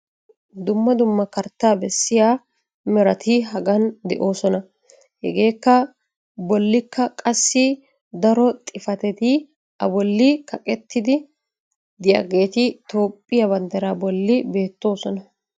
dumma dumma kartaa bessiya merati hagan de'oososna. hegaa bolikka qassi daro xifatetti a boli kaqettidi diyaageeti toophiya bandiraa bolli beetoososna.